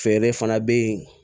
Feere fana bɛ yen